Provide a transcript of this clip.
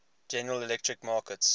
general electric markets